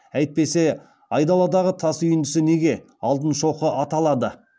әйтпесе айдаладағы тас үйіндісі неге алтын шоқы аталады